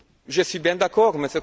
Je suis bien d'accord, M.